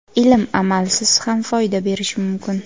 Ilm amalsiz ham foyda berishi mumkin.